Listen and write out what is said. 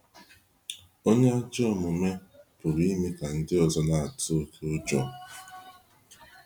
Onye ajọ omume pụrụ ime ka ndị ọzọ na-atụ oké ụjọ.